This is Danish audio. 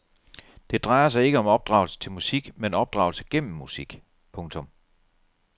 Det drejer sig ikke om opdragelse til musik men opdragelse gennem musik. punktum